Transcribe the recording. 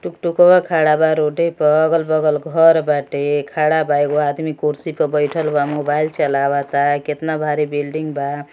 टुकटुकवा खडा बा रोडे प। अगल बगल घर बाटे खड़ा बा एगो आदमी कुर्सी पे बैठाल बा मोबाईल चलावता। केतना भारी बिल्डिंग बा।